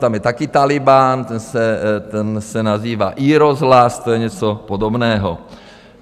Tam je taky Tálibán, ten se nazývá iRozhlas, to je něco podobného.